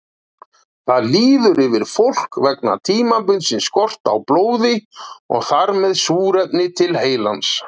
Það líður yfir fólk vegna tímabundins skorts á blóði og þar með súrefni til heilans.